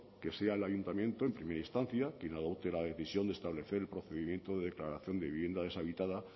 que sea el ayuntamiento en primera instancia quien adopte la decisión de establecer el procedimiento de declaración de vivienda deshabitada